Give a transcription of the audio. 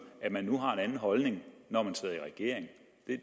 at man nu har en anden holdning når man sidder i regering